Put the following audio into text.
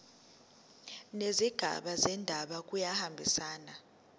nezigaba zendaba kuyahambisana